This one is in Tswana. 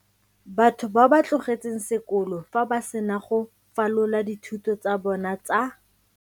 Batho ba ba tlogetseng sekolo fa ba sena go falola dithuto tsa bona tsa.